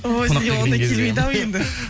ой сізге ондай келмейді ау енді